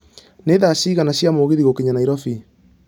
nĩ thaa cigana cia mũgithi gũkinya nairobi